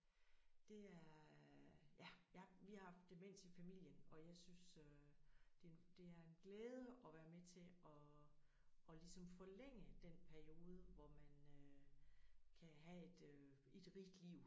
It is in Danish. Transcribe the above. Det er jeg ja ja vi har haft demens i familien og jeg synes øh det det er en glæde at være med til at at ligesom forlænge den periode hvor man øh kan have et rigt liv